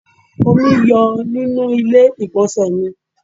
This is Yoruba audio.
Omi ń yọ nínú ilé igbonse mi